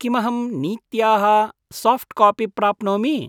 किमहं नीत्याः साफ्ट्कापि प्राप्नोमि?